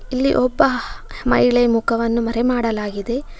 ಇಲ್ಲಿ ಒಬ್ಬ ಮಹಿಳೆಯ ಮುಖವನ್ನು ಮರೆ ಮಾಡಲಾಗಿದೆ.